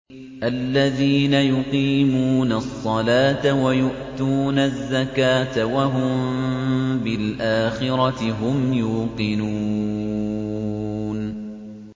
الَّذِينَ يُقِيمُونَ الصَّلَاةَ وَيُؤْتُونَ الزَّكَاةَ وَهُم بِالْآخِرَةِ هُمْ يُوقِنُونَ